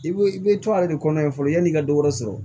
I bɛ i bɛ to a yɛrɛ de kɔnɔ yan fɔlɔ yan'i ka dɔ wɛrɛ sɔrɔ